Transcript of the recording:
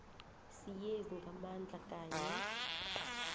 siyezi ngamandla kanye